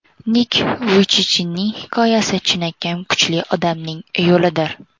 Nik Vuychichning hikoyasi chinakam kuchli odamning yo‘lidir.